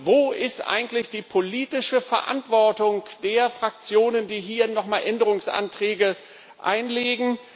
Wo ist eigentlich die politische Verantwortung der Fraktionen, die hier noch einmal Änderungsanträge einbringen?